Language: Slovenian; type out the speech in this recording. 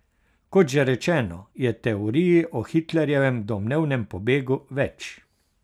Kot že rečeno, je teorij o Hitlerjevem domnevnem pobegu več.